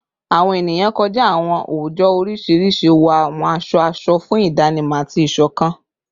Awọn eniyan kọja awọn oojọ oriṣiriṣi wọ awọn aṣọ aṣọ fun idanimọ ati isokan